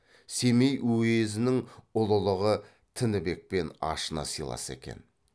семей уезінің ұлылығы тінібекпен ашына сыйласа екен